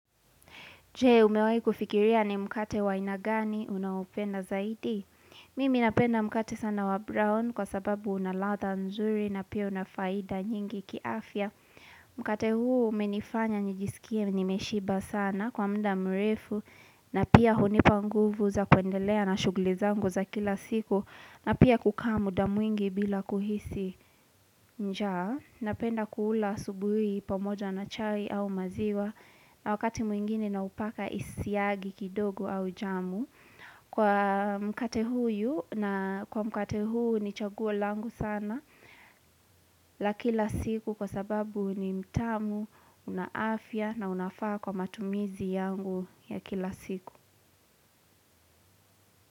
Je, umewahi kufikiria ni mkate wainagani unaupenda zaidi? Mimi napenda mkate sana wa brown kwa sababu unalatha nzuri na pia unafaida nyingi kiafya. Mkate huu umenifanya nijisikie nimeshiba sana kwa mda mrefu na pia hunipa nguvu za kwendelea na shugli zangu za kila siku na pia kukaa muda mwingi bila kuhisi njaa. Napenda kuula asubuhi pamoja na chai au maziwa na wakati mwingine na upaka isiagi kidogo au jamu Kwa mkate huyu na kwa mkate huu ni chaguo langu sana la kila siku kwa sababu ni mtamu unaafya na unafaa kwa matumizi yangu ya kila siku.